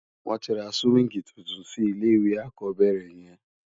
Won ti ra siwingi túntún si ilé iwé ákòbèrè yèn